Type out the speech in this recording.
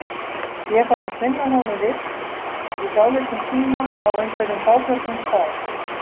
Ég þarf að finna honum vist í dálítinn tíma, á einhverjum fáförnum stað.